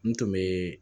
N tun bɛ